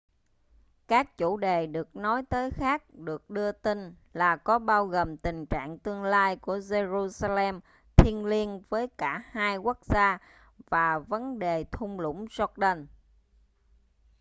các chủ đề được nói tới khác được đưa tin là có bao gồm tình trạng tương lai của jerusalem thiêng liêng với cả hai quốc gia và vấn đề thung lũng jordan